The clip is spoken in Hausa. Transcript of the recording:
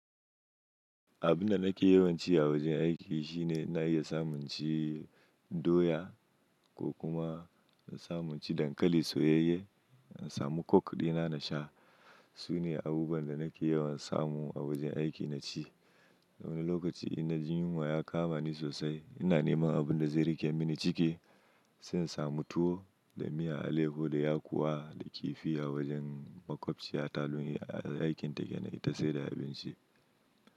Abun da nake yawan ci a wajen aiki shine ina iya samun ci doya ko kuma na in samu in ci dankali soyayye, in samu coke ɗina na sha. Sune abubuwan da nake yawan samu a wajen aiki na ci. Wani lokaci in na jin yunwa ya kama ni sosai, ina neman abun da zai rike mini ciki, sai in samu tuwo da miyan alaiho da yakuwa da kifi a wajen maƙwabciya talo a aikin take na ita sai da abinci.